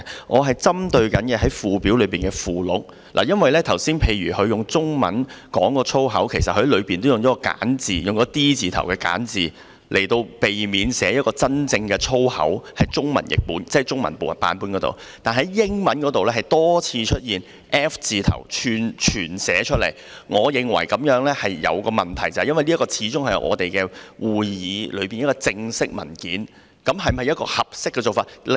我針對的是附表的附錄，例如他剛才用中文說的粗口，其實文本也用了 "D 字"為首的簡化版，避免寫出真正的粗口；我說的是中文版本，但英文版卻多次出現 F 字頭的全寫粗口，我認為此舉有問題，因為這份始終是我們會議的正式文件，這是否一個合適的做法？